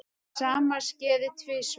Sama skeði tvisvar.